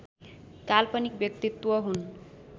काल्पनिक व्यक्तित्व हुन्